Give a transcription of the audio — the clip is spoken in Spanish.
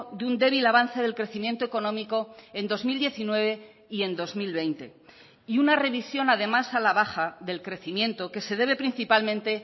de un débil avance del crecimiento económico en dos mil diecinueve y en dos mil veinte y una revisión además a la baja del crecimiento que se debe principalmente